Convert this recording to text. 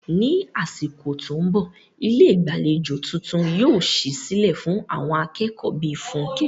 Ní àsìkò tó ń bọ̀, ilé ìgbàlejò tuntun yóò ṣí sílẹ̀ fún àwọn akẹ́kọ̀ọ́ bíi Funke.